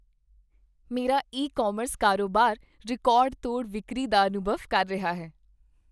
ਮੇਰਾ e commerce ਕਾਰੋਬਾਰ record ਤੋੜ ਵਿਕਰੀ ਦਾ ਅਨੁਭਵ ਕਰ ਰਿਹਾ ਹੈ